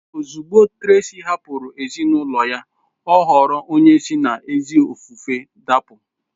Ozugbo Tracy hapụrụ ezinụlọ ya, ọ ghọrọ onye si n’ezi ofufe dapụ.